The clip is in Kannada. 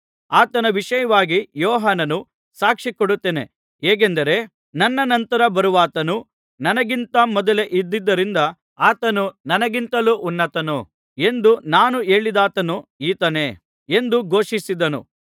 ಆತನ ವಿಷಯವಾಗಿ ಯೋಹಾನನು ಸಾಕ್ಷಿಕೊಡುತ್ತಾನೆ ಹೇಗೆಂದರೆ ನನ್ನ ನಂತರ ಬರುವಾತನು ನನಗಿಂತ ಮೊದಲೇ ಇದ್ದುದರಿಂದ ಆತನು ನನಗಿಂತಲೂ ಉನ್ನತನು ಎಂದು ನಾನು ಹೇಳಿದಾತನು ಈತನೇ ಎಂದು ಘೋಷಿಸಿದನು